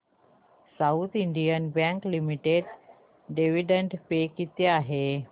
south Indian Bank Limited dividend pay किती आहे